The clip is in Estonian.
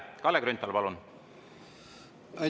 Kalle Grünthal, palun!